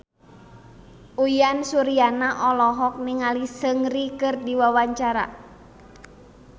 Uyan Suryana olohok ningali Seungri keur diwawancara